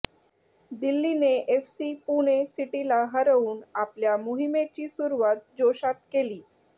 दिल्लीने FC Pune सिटीला हरवून आपल्या मोहीमेची सुरवात जोशात केली